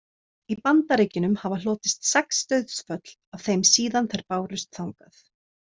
Í Bandaríkjunum hafa hlotist sex dauðsföll af þeim síðan þær bárust þangað.